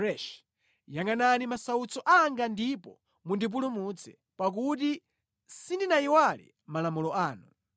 Yangʼanani masautso anga ndipo mundipulumutse, pakuti sindinayiwale malamulo anu.